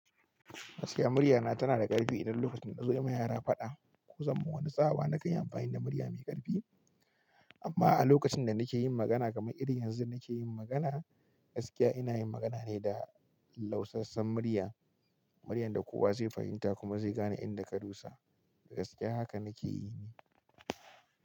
Gaskiya muryana tana da ƙarfi idan lokacin da na zo yi ma yara faɗa ko zama wani tsawa na kai amfani da murya mai ƙarfi. Amma a lokacin da nake yin magana kamar irin yanzu nake yin magana, gaskiya ina yin magana ne da lausassen murya. Muryar da kowa zai fahimta kuma zai gane inda ka dusa. Da gaskiya haka nake yi.